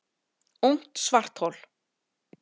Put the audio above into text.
Ungt svarthol